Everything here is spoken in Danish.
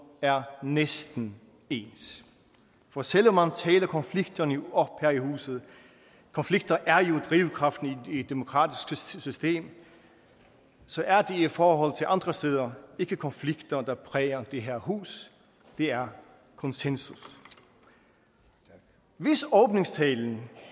er næsten ens for selv om man taler konflikterne op her i huset konflikter er jo drivkraften i et demokratisk system så er det i forhold til andre steder ikke konflikter der præger det her hus det er konsensus hvis åbningstalen